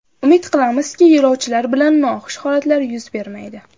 Umid qilamizki, yo‘lovchilar bilan noxush holatlar yuz bermaydi.